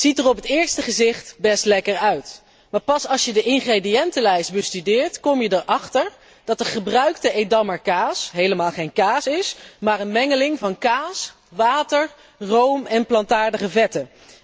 Ziet er op het eerste gezicht best lekker uit, maar pas als je de ingrediëntenlijst bestudeert, kom je erachter dat de gebruikte Edammer kaas helemaal geen kaas is maar een mengeling van kaas, water, room en plantaardige vetten.